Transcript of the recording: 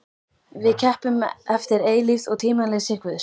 Við keppum eftir eilífð og tímaleysi Guðs.